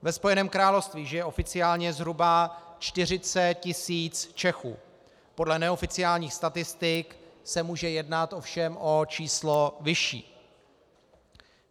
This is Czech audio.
Ve Spojeném království žije oficiálně zhruba 40 tisíc Čechů, podle neoficiálních statistik se může jednat ovšem o číslo vyšší.